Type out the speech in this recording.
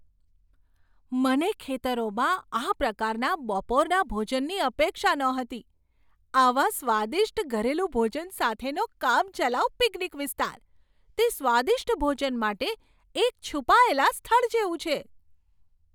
મને ખેતરોમાં આ પ્રકારના બપોરના ભોજનની અપેક્ષા નહોતી આવા સ્વાદિષ્ટ ઘરેલું ભોજન સાથેનો કામચલાઉ પિકનિક વિસ્તાર! તે સ્વાદિષ્ટ ભોજન માટે એક છુપાયેલા સ્થળ જેવું છે!